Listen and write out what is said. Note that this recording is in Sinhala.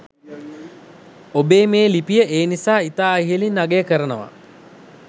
ඔබේ මේ ලිපිය ඒ නිසා ඉතා ඉහලින් අගය කරනවා